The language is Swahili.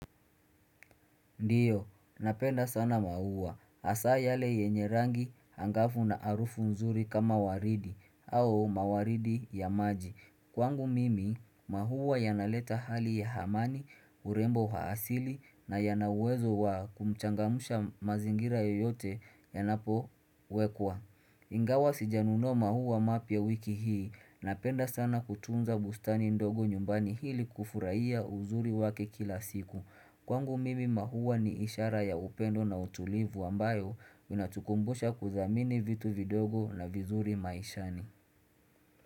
Ndiyo, napenda sana mahuwa. Asa yale yenye rangi hangafu na arufu nzuri kama waridi, au mawaridi ya maji. Kwangu mimi, mahuwa yanaleta hali ya hamani, urembo haasili na yanauwezo wa kumchangamusha mazingira yoyote yanapo wekwa. Ingawa sijanuno mahuwa mapia wiki hii. Napenda sana kutunza bustani ndogo nyumbani hili kufuraiya uzuri wake kila siku. Kwangu mimi mahuwa ni ishara ya upendo na utulivu ambayo inatukumbusha kuzamini vitu vidogo na vizuri maishani.